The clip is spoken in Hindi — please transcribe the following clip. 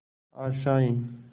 आशाएं